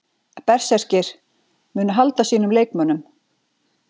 Berserkir: Munu halda sínum leikmönnum.